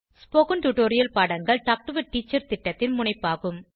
spoken tutorial பாடங்கள் talk to a teacher திட்டத்தின் முனைப்பாகும்